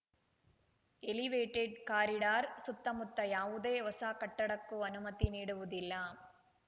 elevated corridor ಸುತ್ತಮುತ್ತ ಯಾವುದೇ ಹೊಸ ಕಟ್ಟಡಕ್ಕೂ ಅನುಮತಿ ನೀಡುವುದಿಲ್ಲ